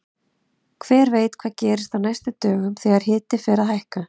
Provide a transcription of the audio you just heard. Hver veit hvað gerist á næstu dögum þegar hiti fer að hækka!